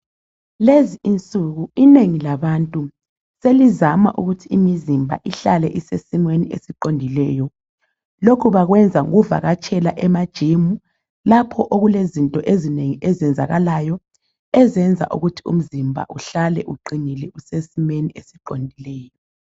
Lezinsuku inengi labantu selizama ukuthi imizimba ihlale isesimeni esiqondileyo. Lokhu bakwenza ngokuvakatshela ema gym lapho okulezinto ezinengi ezenzakalayo ezenza ukuthi umzimba Uhlale uqinile usesimeni esiqondileyo